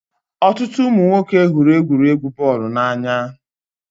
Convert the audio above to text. Ọtụtụ ụmụ nwoke hụrụ egwuregwu bọọlụ n'anya.